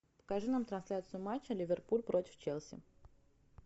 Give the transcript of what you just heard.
покажи нам трансляцию матча ливерпуль против челси